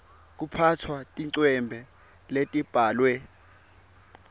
kuphatsa tincwembe letibhalwe